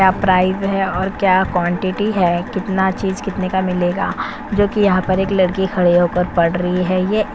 क्या प्राइड है और क्या कॉन्टिटी है कितना चीज कितने का मिलेगा? जोकि यहाँ एक लड़की खड़ी होकर पढ़ रही है ये --